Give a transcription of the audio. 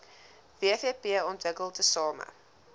wvp ontwikkel tesame